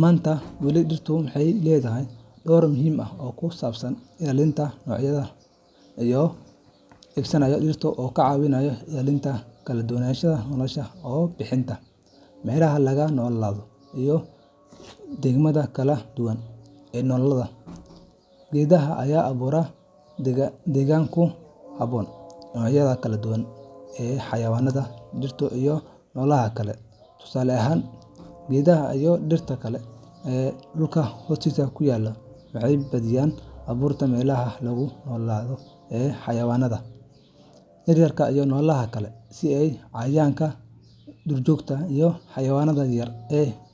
Maanta, weli dhirtu waxay leedahay door muhiim ah oo ku saabsan ilaalinta noocyada noolaha ee dhammaan qaybaha nolosha. Mid ka mid ah qaababka ugu muhiimsan ee geedaha dhirtu uga caawinayaan ilaalinta kaladuwananshaha nolosha waa bixinta meelaha lagu noolaado iyo deegaanada kala duwan ee noolaha. Geedaha ayaa abuura deegaan ku habboon noocyada kala duwan ee xayawaanka, dhirta, iyo noolaha kale. Tusaale ahaan, geedaha iyo dhirta kale ee dhulka hoostiisa ku yaal waxay badiyaa abuuraan meelaha lagu noolaado ee xayawaanka yaryar iyo noolaha kale, sida cayayaanka. , duurjoogta, iyo xayawaanka yaryar ee.